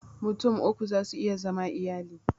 Mutum uku za su iya zama iyali